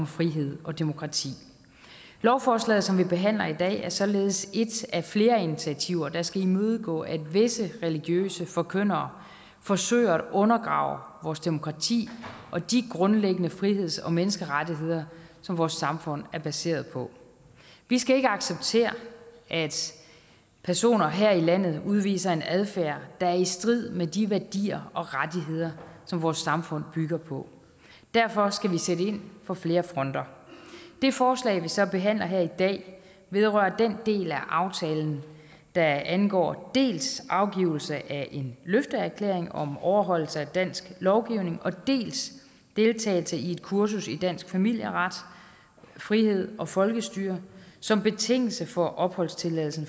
frihed og demokrati lovforslaget som vi behandler i dag er således et af flere initiativer der skal imødegå at visse religiøse forkyndere forsøger at undergrave vores demokrati og de grundlæggende friheds og menneskerettigheder som vores samfund er baseret på vi skal ikke acceptere at personer her i landet udviser en adfærd der er i strid med de værdier og rettigheder som vores samfund bygger på derfor skal vi sætte ind på flere fronter det forslag vi så behandler her i dag vedrører den del af aftalen der angår dels afgivelse af en løfteerklæring om overholdelse af dansk lovgivning og dels deltagelse i et kursus i dansk familieret frihed og folkestyre som betingelse for opholdstilladelse